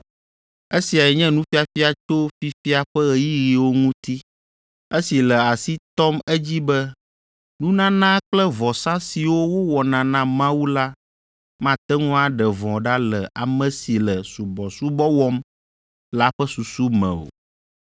Esiae nye nufiafia tso fifia ƒe ɣeyiɣiwo ŋuti, esi le asi tɔm edzi be nunana kple vɔsa siwo wowɔna na Mawu la mate ŋu aɖe vɔ̃ ɖa le ame si le subɔsubɔ wɔm la ƒe susu me o.